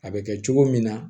A bɛ kɛ cogo min na